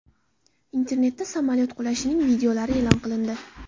Internetda samolyot qulashining videolari e’lon qilindi.